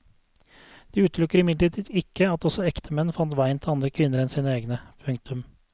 Det utelukker imidlertid ikke at også ektemenn fant veien til andre kvinner enn sine egne. punktum